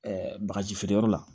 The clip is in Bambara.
bagaji feereyɔrɔ la